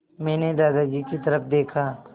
मैंने दादाजी की तरफ़ देखा